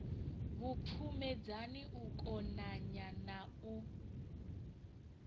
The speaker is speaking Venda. vhupfumedzani u konanya na u